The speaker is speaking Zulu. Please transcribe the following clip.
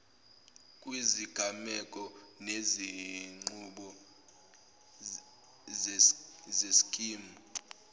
kwizigameko nezinqubo zeskimu